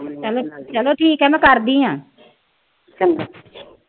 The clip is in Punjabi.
ਕਹਿੰਦਾ ਕੀ ਕਹਿੰਦਾ ਕਰਦੀ ਆ।